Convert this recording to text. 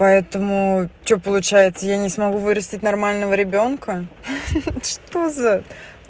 поэтому что получается я не смогу вырастить нормального ребёнка ха-ха что за